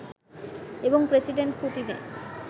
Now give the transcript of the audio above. এবং প্রেসিডেন্ট পুতিনের